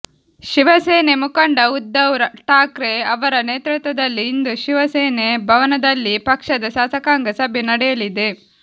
ಶಿವಸೇನೆ ಮುಖಂಡ ಉದ್ಧವ್ ಠಾಕ್ರೆ ಅವರ ನೇತೃತ್ವದಲ್ಲಿ ಇಂದು ಶಿವಸೇನೆ ಭವನದಲ್ಲಿ ಪಕ್ಷದ ಶಾಸಕಾಂಗ ಸಭೆ ನಡೆಯಲಿದೆ